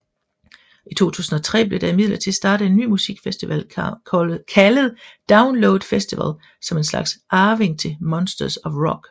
I 2003 blev der imidlertid startet en ny musikfestival kaldet Download Festival som en slags arving til Monsters of Rock